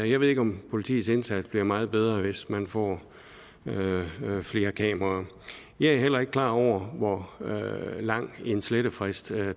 jeg ved ikke om politiets indsats bliver meget bedre hvis man får flere kameraer jeg er heller ikke klar over hvor lang en slettefrist